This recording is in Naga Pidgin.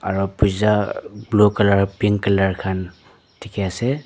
aro blue colour pink colour khan diki asae.